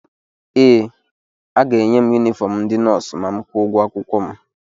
ee, aga-enye m yunifọm ndị nọọsụ ma m kwụọ ụgwọ akwụkwọ m